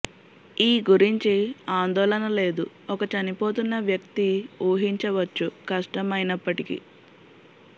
ఈ గురించి ఆందోళన లేదు ఒక చనిపోతున్న వ్యక్తి ఊహించవచ్చు కష్టం అయినప్పటికీ